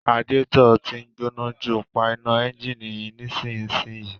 Radiator tí ń gbóná jù, pa iná ẹ́ńjìnì nísinsìnyí